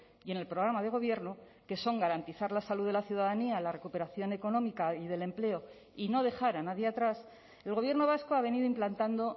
y en el programa de gobierno que son garantizar la salud de la ciudadanía la recuperación económica y del empleo y no dejar a nadie atrás el gobierno vasco ha venido implantando